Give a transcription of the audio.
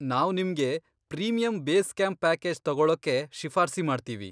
ನಾವ್ ನಿಮ್ಗೆ premium base camp package ತಗೊಳೋಕೆ ಶಿಫಾರ್ಸಿ ಮಾಡ್ತೀವಿ.